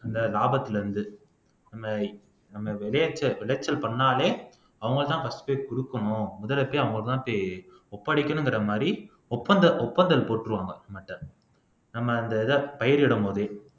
அந்த லாபத்துல இருந்து நம்ம நம்ம விளைச்ச விளைச்சல் பண்ணாலே அவங்கதான் first போய் குடுக்கணும் அவங்க தான் போய் ஒப்படைக்கணும்ங்கிற மாறி ஒப்பந்த ஒப்பந்தல் போட்டுருவாங்க நம்ம அந்த இதை பயிரிடும்போதே